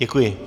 Děkuji.